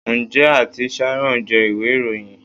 Njẹ Aunty sharon jẹ iwe iroyin?